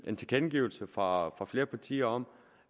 en tilkendegivelse fra flere partier om